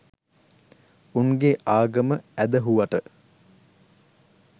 උන්ගේ ආගම ඇදහුවට